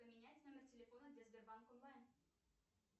поменять номер телефона для сбербанк онлайн